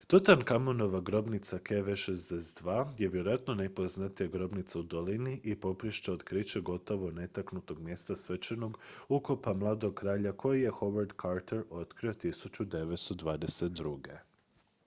tutankamonova grobnica kv62. kv62 je vjerojatno najpoznatija grobnica u dolini i poprište je otkrića gotovo netaknutog mjesta svečanog ukopa mladog kralja koje je howard carter otkrio 1922